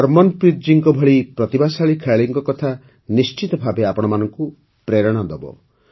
ହର୍ମନପ୍ରୀତ୍ ଜୀଙ୍କ ଭଳି ପ୍ରତିଭାଶାଳୀ ଖେଳାଳିଙ୍କ କଥା ନିଶ୍ଚିତ ଭାବେ ଆପଣମାନଙ୍କୁ ପ୍ରେରଣା ଦେବ